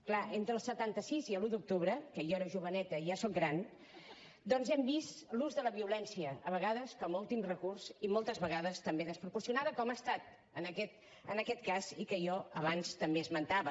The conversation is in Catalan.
clar entre el setanta sis i l’un d’octubre que jo era joveneta i ja soc gran doncs hem vist l’ús de la violència a vegades com a últim recurs i moltes vegades també desproporcionada com ha estat en aquest cas i que jo abans també esmentava